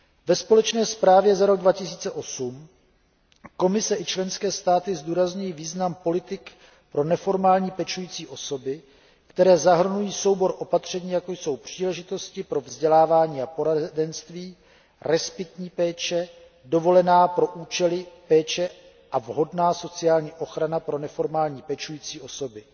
Ve společné zprávě za rok 2008 Komise i členské státy zdůrazňují význam politik pro neformální pečující osoby, které zahrnují soubor opatření, jako jsou příležitosti pro vzdělávání a poradenství, respitní péče, dovolená pro účely péče a vhodná sociální ochrana pro neformální pečující osoby.